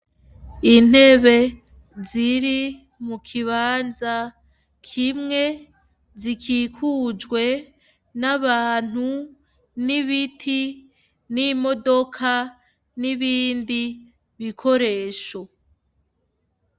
Intebe ziri mukibanza kimwe zikikujwe nabantu, nibiti, nimodoka nibindi bikoresho.